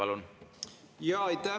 Aitäh!